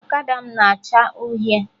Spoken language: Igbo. Ọkada m na acha uhie